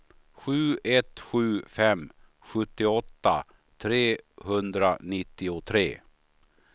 sju ett sju fem sjuttioåtta trehundranittiotre